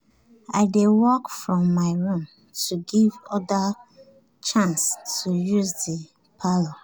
i dey work from my room to give others chance to use the parlour